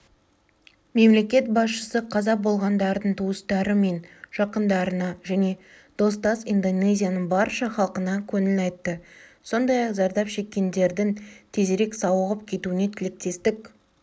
мемлекет басшысы қаза болғандардың туыстары мен жақындарына және достас индонезияның барша халқына көңіл айтты сондай-ақ зардап шеккендердің тезірек сауығып кетуіне тілектестік